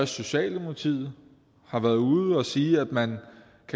socialdemokratiet har været ude at sige at man